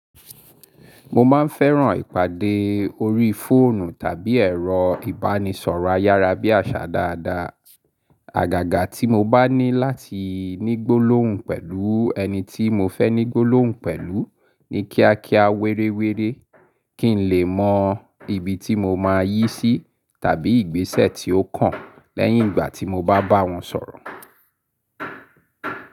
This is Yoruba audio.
Mo máa ń fẹ́ràn ìpàdé orí fóònù tàbí ẹ̀rọ ìbánisọ̀rọ̀ ayárabíàṣá dáadáa. Àgàgà tí mo bá ní láti ní gbólóhùn pẹ̀lú ẹni tí mo fẹ́ ní gbólóhùn pẹ̀lú ni kíákíá wéréwéré, kí n lè mọ ibi tí mo máa yí sí tàbí ìgbésẹ̀ tí ó kàn lẹ́yìn ìgbà tí mo bá bá wọn sọ̀rọ̀.